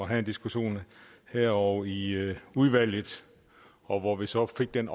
have en diskussion her og i udvalget og hvor vi så fik den